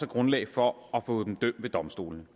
grundlag for at få dem dømt ved domstolene